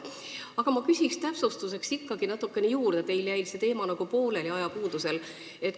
Aga ma küsin täpsustuseks ikkagi natukene juurde, teil jäi see teema ajapuudusel nagu pooleli.